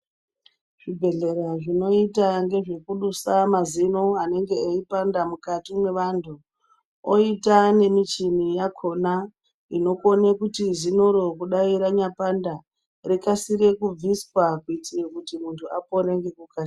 Zvibhehlera zvinoita ngeze kubisa mazino anenge eipanda mukati mevantu oita nemuchini yakona inokone kuti zinoro kudai ranya panda rikasire kubviswa kuitire kuti muntu alone ngekukasira.